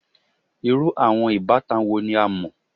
Iru awọn ibatan wo ni a mọ?